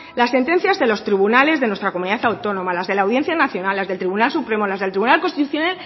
las sentencias de los tribunales de nuestra comunidad autónoma las de la audiencia nacional las del tribunal supremo las del tribunal constitucional